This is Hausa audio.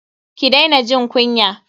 Ki daina jin kunya.